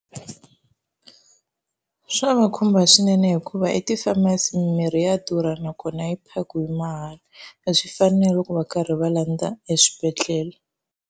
Swa va khumba swinene hikuva i ti-pharmacy, mimirhi ya durha nakona a yi phakiwa mahala a swi fani na loko va karhi va landza eswibedhlele.